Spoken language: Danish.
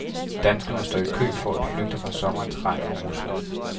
Danskerne står i kø for at flygte fra sommerens regn og rusk.